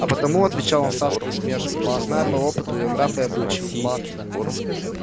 а потому отвечал он с адской усмешкою что знаю по опыту её нрав и обычай